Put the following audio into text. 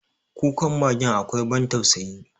Kukan magen akwai ban tausayi.